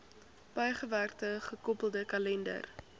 bygewerkte gekoppelde kalender